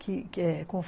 Que